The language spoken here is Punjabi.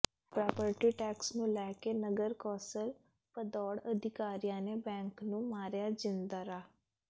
ਪ੍ਰਾਪਰਟੀ ਟੈਕਸ ਨੂੰ ਲੈ ਕੇ ਨਗਰ ਕੌਾਸਲ ਭਦੌੜ ਅਧਿਕਾਰੀਆਂ ਨੇ ਬੈਂਕ ਨੂੰ ਮਾਰਿਆ ਜਿੰਦਰਾ